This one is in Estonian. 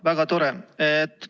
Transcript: Väga tore!